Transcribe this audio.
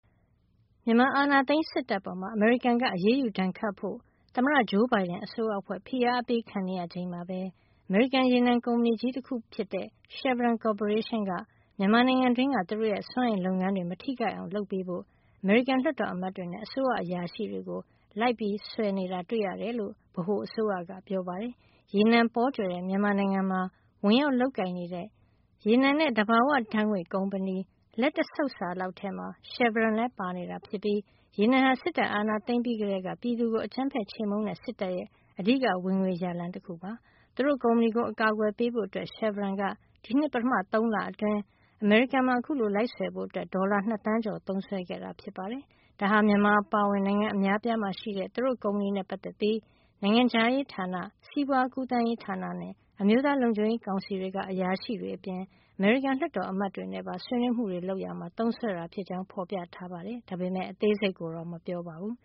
မြန်မာအာဏာသိမ်းစစ်တပ်အပေါ် အမေရိကန်က အရေးယူဒဏ်ခတ်ဖို့ သမ္မတ ဂျိုးဘိုင်ဒန်အစိုးရအဖွဲ့ ဖိအားအပေးခံနေရချိန်မှာပဲ အမေရိကန်ရေနံကုမ္ပဏီကြီးတခုဖြစ်တဲ့ Chevron ကော်ပိုရေးရှင်းက မြန်မာနိုင်ငံတွင်းက သူတို့ရဲ့စွမ်းအင်လုပ်ငန်းတွေမထိခိုက်အောင် လုပ်ပေးဖို့ အမေရိကန်လွှတ်တော်အမတ်တွေနဲ့ အစိုးရအရာရှိတွေကို လိုက်ဆွယ်နေတာ တွေ့ရတယ်လို့ ဗဟိုအစိုးရက ပြောပါတယ်။ ရေနံပေါကြွယ်တဲ့ မြန်မာနိုင်ငံမှာဝင်ရောက်လုပ်ကိုင်နေတဲ့ ရေနံနဲ့ သဘာဝဓါတ်ငွေ့ ကုမ္ပဏီလက်တဆုပ်စာလောက်ထဲမှာ Chevron လည်းပါဝင်နေတာ ဖြစ်ပြီး ရေနံဟာ စစ်တပ်အာဏာသိမ်းပြီးကတည်းက ပြည်သူကို အကြမ်းဖက်ခြေမှုန်းနေတဲ့ စစ်တပ်ရဲ့ အဓိက ဝင်ငွေရလမ်းတခု ဖြစ်နေတာပါ။ သူတို့ ကုမ္ပဏီကို အကာကွယ်ပေးဖို့အတွက် Chevron က ဒီနှစ် ပထမ ၃ လအတွင်း အမေရိကန်မှာ အခုလို လိုက်ဆွယ်ဖို့ ဒေါ်လာ ၂ သန်းကျော် သုံးစွဲခဲ့တာ ဖြစ်ပါတယ်။ ဒါဟာ မြန်မာအပါအဝင် နိုင်ငံအများအပြားမှာရှိတဲ့ သူတို့ကုမ္ပဏီနဲ့ ပတ်သက်ပြီး နိုင်ငံခြားရေးဌာန၊ စီးပွါးကူးသန်းဌာနနဲ့ အမျိုးသားလုံခြုံရေးကောင်စီတွေက အရာရှိတွေအပြင် အမေရိကန်လွှတ်တော်အမတ်တွေနဲ့ပါ ဆွေးနွေးမှုတွေ လုပ်ရာမှာ သုံးစွဲတာ ဖြစ်ကြောင်း ဖေါ်ပြထားပေမယ့် အသေးစိတ်ကိုတော့ ထုတ်မပြောပါဘူး